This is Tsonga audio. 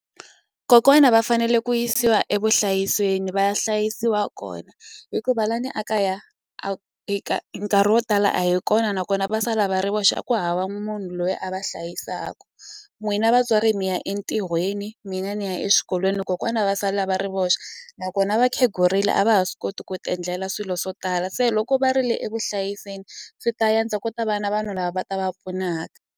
Kokwana va fanele ku yisiwa evuhlayisweni va hlayisiwa kona hikuva la ni a kaya a nkarhi wo tala a hi kona nakona va sala va ri voxe a ku hava munhu loyi a va hlayisaka n'wina vatswari mi ya entirhweni mina ni ya eswikolweni kokwana a va sala va ri voxe nakona va khegurile a va ha swi koti ku ti endlela swilo swo tala se loko va ri le evuhlayisenii swi ta yantswa ku ta va na vanhu lava va ta va pfuna.